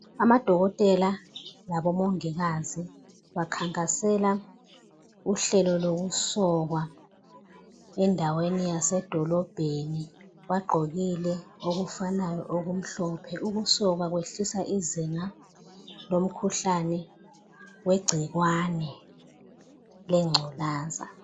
Amadokotela labomongikazi bakhankasela uhlelo lokusokwa endaweni yasedolobheni bagqokile okufananayo okumhlophe ukusokwa ukwehlisa izinga lomkhuhlane wegcikwane lengculaza.